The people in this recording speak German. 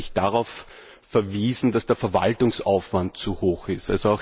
Sie hat darauf verwiesen, dass der Verwaltungsaufwand zu groß ist.